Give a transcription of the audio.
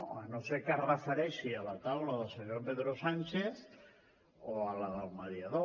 si no és que es refereix a la taula del senyor pedro sánchez o a la del mediador